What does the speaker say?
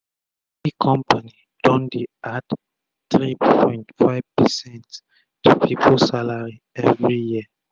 plenti compani don don dey add 3.5 percent to pipu salary everi year